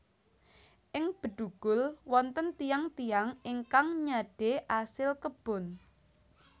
Ing Bedugul wonten tiyang tiyang ingkang nyadé asil kebon